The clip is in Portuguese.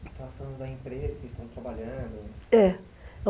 Você estava falando da empresa que estão trabalhando? É